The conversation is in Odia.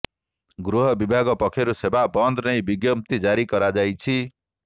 ଗୃହ ବିଭାଗ ପକ୍ଷରୁ ସେବା ବନ୍ଦ ନେଇ ବିଜ୍ଞପ୍ତି ଜାରି କରାଯାଇଛି